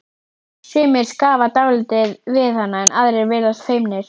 Sumir skrafa dálítið við hana en aðrir virðast feimnir.